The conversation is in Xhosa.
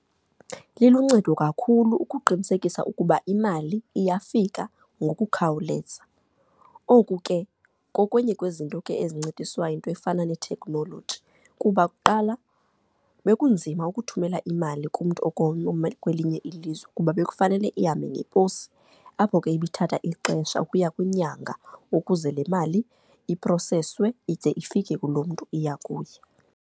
Liluncedo kakhulu ukuqinisekisa ukuba imali iyafika ngokukhawuleza. Oku ke kokwenye kwezinto ke ezincediswa yinto efana ne-technology, kuba kuqala bekunzima ukuthumela imali kumntu okwelinye ilizwe kuba bekufanele ihambe ngeposi, apho ke ibiithatha ixesha ukuya kwinyanga ukuze le mali iproseswe ide ifike kulo mntu iya kuye.